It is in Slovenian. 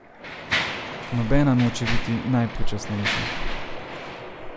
Nobena noče biti najpočasnejša.